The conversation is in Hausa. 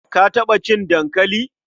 Ka taɓa cin dankali?